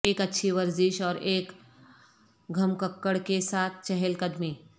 ایک اچھی ورزش اور ایک گھمککڑ کے ساتھ چہل قدمی